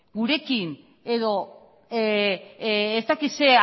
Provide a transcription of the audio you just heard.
gurekin edo ez dakit zer